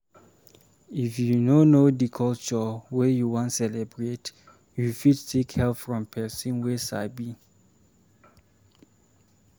If you no know di culture wey you wan celebrate, you fit seek help from person wey sabi